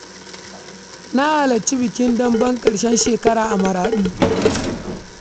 Na halarci bikin wasan dambe na ƙarshen shekara a garin Maraɗi.